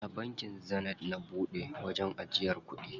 A bankin Zenith na buɗe wajen ajiyar kuɗi.